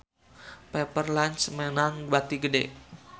Pepper Lunch meunang bati gede